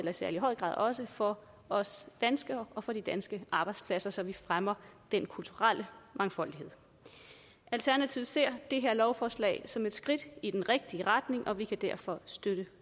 særlig høj grad også for os danskere og for de danske arbejdspladser så vi fremmer den kulturelle mangfoldighed alternativet ser det her lovforslag som et skridt i den rigtige retning og vi kan derfor støtte